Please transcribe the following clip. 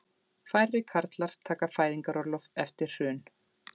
Færri karlar taka fæðingarorlof eftir hrun